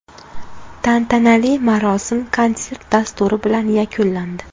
Tantanali marosim konsert dasturi bilan yakunlandi.